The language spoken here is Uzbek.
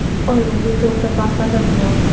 Oilali, to‘rt nafar farzandi bor.